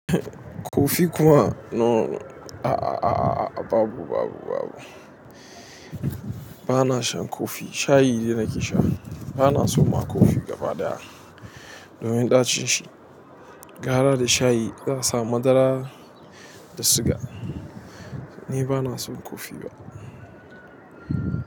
Kofi kuma no, a a a a a babu, babu, babu. Bana shan kofi, shayi de nake sha. Bana son ma kofi gaba ɗaya domin ɗacin shi. Gara da shayi zan sa madara da siga. Ni bana son kofi ba.